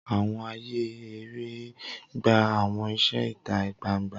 Awọn aaye ere gba awọn iṣẹ ita gbangba.